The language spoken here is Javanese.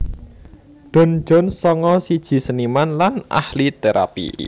Don Jones sanga siji seniman lan ahli térapi